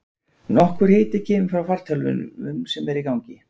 Nokkur hiti kemur frá fartölvum sem eru í gangi.